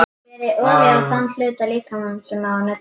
Berið olíu á þann hluta líkamans sem á að nudda.